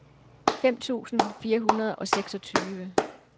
fem tusind fire hundrede og seksogtyve